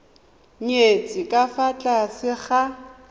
nyetswe ka fa tlase ga